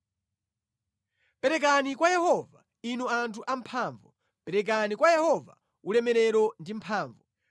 Perekani kwa Yehova, inu anthu amphamvu, perekani kwa Yehova ulemerero ndi mphamvu.